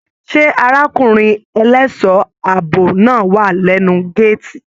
Ṣe arákùnrin ẹlẹṣọ ààbò náà wà lẹnu gàátí?